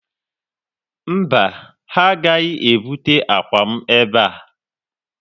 Mba, ha agaghị ebuta akwa m ebe a.